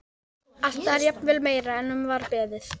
Þeir eru nú ekki með öllum mjalla stundi amma.